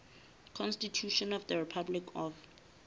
constitution of the republic of